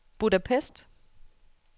Budapest